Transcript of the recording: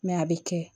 a bɛ kɛ